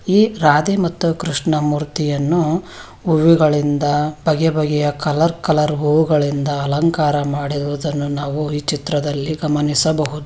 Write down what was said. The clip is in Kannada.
ಈ ರಾಧೆ ಮತ್ತು ಕೃಷ್ಣಮೂರ್ತಿಯನ್ನು ಹೂಗಳಿಂದ ಬಗೆ ಬಗೆ ಕಲರ್ ಕಲರ್ ಹೂಗಳಿಂದ ಅಲಂಕಾರ ಮಾಡಿರುವುದನ್ನು ನಾವು ಈ ಚಿತ್ರದಲ್ಲಿ ಗಮನಿಸಬಹುದು --